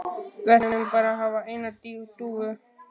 Við ætlum bara að hafa eina dúfu